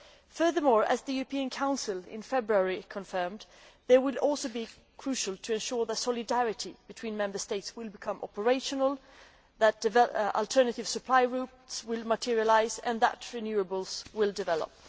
Furthermore, as the European Council in February confirmed, they will also be crucial in ensuring that solidarity between Member States becomes operational, that alternative supply routes materialise and that renewables will develop.